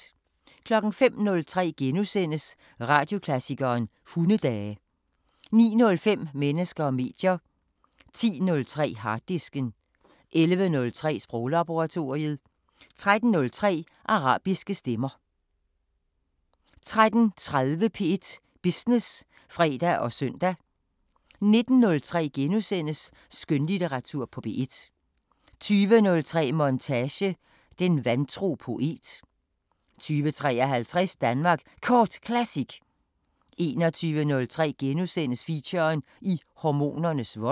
05:03: Radioklassikeren: Hundedage * 09:05: Mennesker og medier 10:03: Harddisken 11:03: Sproglaboratoriet 13:03: Arabiske Stemmer 13:30: P1 Business (fre og søn) 19:03: Skønlitteratur på P1 * 20:03: Montage: Den vantro poet 20:53: Danmark Kort Classic 21:03: Feature: I hormonernes vold *